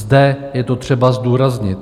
Zde je to třeba zdůraznit.